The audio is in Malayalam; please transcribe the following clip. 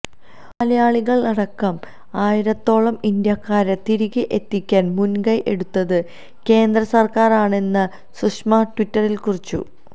മലയാളികളടക്കം ആയിരത്തോളം ഇന്ത്യക്കാരെ തിരികെ എത്തിക്കാൻ മുൻകൈ എടുത്തത് കേന്ദ്രസർക്കാരാണെന്ന് സുഷമ ട്വിറ്ററിൽ കുറിച്ചു